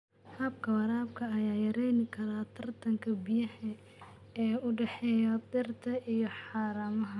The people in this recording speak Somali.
Habka waraabka ayaa yarayn kara tartanka biyaha ee u dhexeeya dhirta iyo haramaha.